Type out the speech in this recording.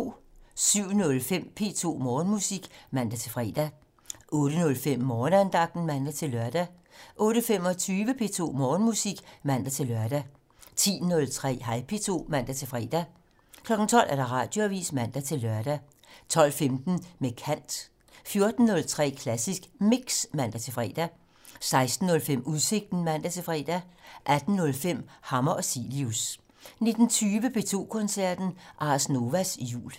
07:05: P2 Morgenmusik (man-fre) 08:05: Morgenandagten (man-lør) 08:25: P2 Morgenmusik (man-lør) 10:03: Hej P2 (man-fre) 12:00: Radioavisen (man-lør) 12:15: Med kant 14:03: Klassisk Mix (man-fre) 16:05: Udsigten (man-fre) 18:05: Hammer og Cilius 19:20: P2 Koncerten - Ars Novas Jul